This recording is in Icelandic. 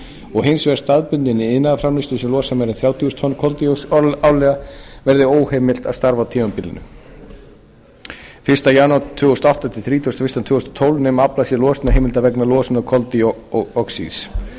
og hins vegar staðbundinni iðnaðarframleiðslu sem losar meira en þrjátíu þúsund tonn koldíoxíðs árlega verði óheimilt að starfa á tímabilinu fyrsta janúar tvö þúsund og átta til þrítugasta og fyrsta desember tvö þúsund og tólf nema aflað sé losunarheimilda vegna losunar koldíoxíðs